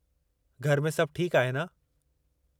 घर में सभु ठीकु आहे न?